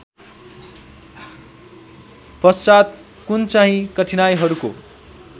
पश्चात् कुनचाहिँ कठिनाइहरूको